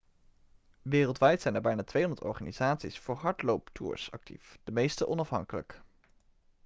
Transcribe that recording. wereldwijd zijn er bijna 200 organisaties voor hardlooptours actief de meeste onafhankelijk